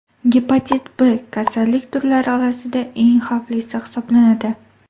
Gepatit B kasallik turlari orasida eng xavflisi hisoblanadi.